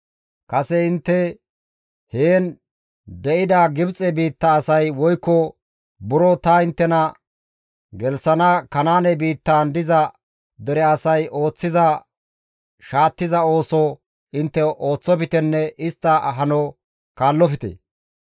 kase intte heen de7ida Gibxe biitta asay woykko buro ta inttena gelththana Kanaane biittan diza dere asay ooththiza shaattiza ooso intte ooththoftenne istta hano kaallofte.